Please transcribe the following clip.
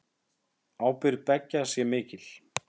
Ábyrgð beggja sé mikil.